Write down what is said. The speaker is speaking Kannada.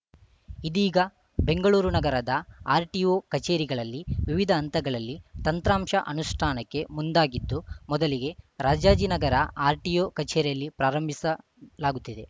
ಇದೀಗ ಬೆಂಗಳೂರು ನಗರದ ಆರ್‌ಟಿಒ ಕಚೇರಿಗಳಲ್ಲಿ ವಿವಿಧ ಹಂತಗಳಲ್ಲಿ ತಂತ್ರಾಂಶ ಅನುಷ್ಠಾನಕ್ಕೆ ಮುಂದಾಗಿದ್ದು ಮೊದಲಿಗೆ ರಾಜಾಜಿನಗರ ಆರ್‌ಟಿಒ ಕಚೇರಿಯಲ್ಲಿ ಪ್ರಾರಂಭಿಸಲಾಗುತ್ತಿದೆ